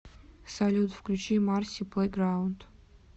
салют включи марси плэйграунд